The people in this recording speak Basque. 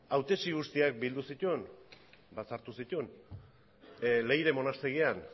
hautetsi guztiak bildu zituen batzartu zituen leire monastegian